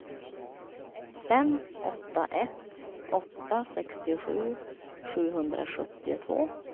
fem åtta ett åtta sextiosju sjuhundrasjuttiotvå